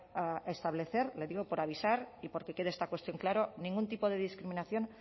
a establecer le digo por avisar y porque quede esta cuestión clara ningún tipo de discriminación